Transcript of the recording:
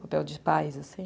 Papel de pais, assim.